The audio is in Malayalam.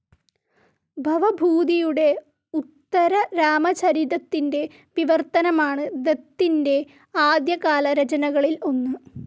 ഭവഭൂതിയുടെ ഉത്തരരാമചരിതത്തിന്റെ വിവർത്തനമാണ് ദത്തിന്റെ ആദ്യകാല രചനകളിൽ ഒന്ന്.